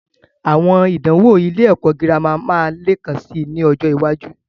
Àwọn ìdánwò ilé ẹ̀kọ́ girama máa leekan sì ni ọjọ́ iwájú.